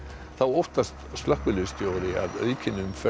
þá óttast slökkviliðsstjóri að aukin umferð